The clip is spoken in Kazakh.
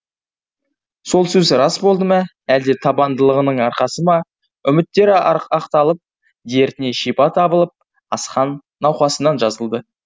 сол сөз рас болды ма әлде табандылығының арқасы ма үміттері ақталып дертіне шипа табылып асхан науқасынан жазылды